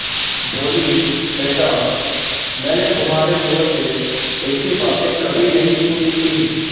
बोलीबेटा मैंने तुम्हारे मुँह से ऐसी बातें कभी नहीं सुनी थीं